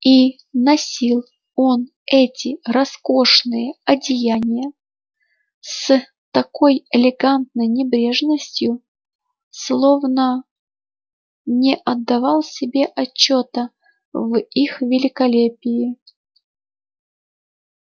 и носил он эти роскошные одеяния с такой элегантной небрежностью словно не отдавал себе отчёта в их великолепии